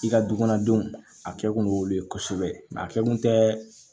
I ka dukɔnɔdenw a kɛ kun ye olu ye kosɛbɛ a kɛ kun tɛ